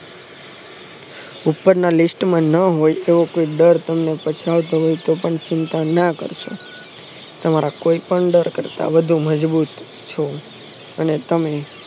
ઉપરના list માં ન હોયતો એ ડર તમને પછતાઓતો હોયતો ચિંતા ના કરશો તમારા કોઈ પણ ડર કરતા વધુ મજબુત છો અને તમે